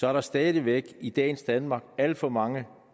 er der stadig væk i dagens danmark alt for mange